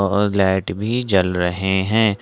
और लाइट भी जल रहे हैं।